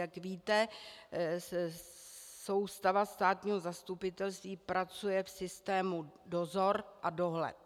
Jak víte, soustava státního zastupitelství pracuje v systému dozor a dohled.